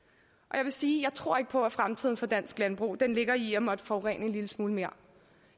jeg vil sige at jeg tror på at fremtiden for dansk landbrug ligger i at måtte forurene en lille smule mere